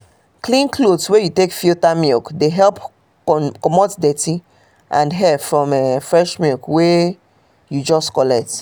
clean cloth wey you take filter milk dey help comot dirty and hair from um fresh milk wey um you just um collect